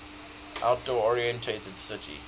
outdoor oriented city